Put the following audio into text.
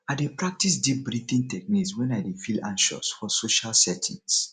i dey practice deep breathing techniques wen i dey feel anxious for social settings